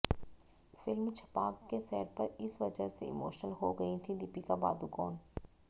film Chhapaak के set पर इस वजह से इमोशनल हो गई थीं दीपिका पादुकोण